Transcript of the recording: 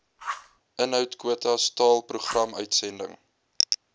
inhoudkwotas taal programuitsending